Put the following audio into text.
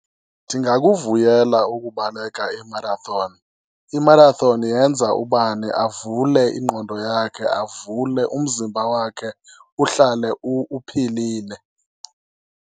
Ndingakuvuyela ukubaleka i-marathon, i-marathon yenza ubani avule ingqondo yakhe, avule umzimba wakhe, uhlale uphilile.